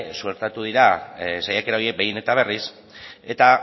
suertatu dira saiakera horiek behin eta berriz eta